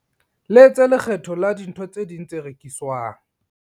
Letse lekgetho la dintho tse ding tse rekiswang.